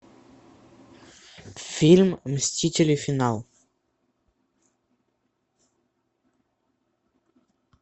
фильм мстители финал